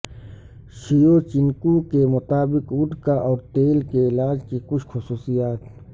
Shevchenko کے مطابق vodka اور تیل کے علاج کی کچھ خصوصیات